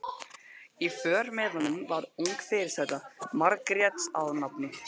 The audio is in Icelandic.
Í för með honum var ung fyrirsæta, Margrét að nafni.